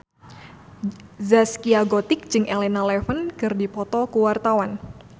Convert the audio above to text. Zaskia Gotik jeung Elena Levon keur dipoto ku wartawan